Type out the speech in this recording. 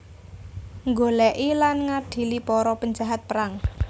Nggolèki lan ngadili para penjahat perang